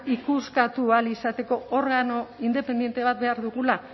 ikuskatu ahal izateko organo independente bat behar dugula